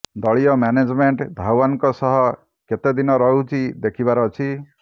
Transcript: ଦଳୀୟ ମ୍ୟାନେଜମେଣ୍ଟ୍ ଧାୱନଙ୍କ ସହ କେତେ ଦିନ ରହୁଛି ଦେଖିବାର ଅଛି